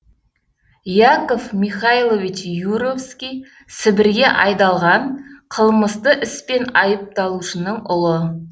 яков михайлович юровский сібірге айдалған қылмысты іспен айыпталушының ұлы